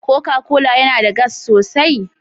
Coca-Cola yana da gas sosai?